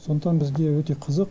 сондықтан бізге өте қызық